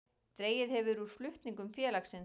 Dregið hefur úr flutningum félagsins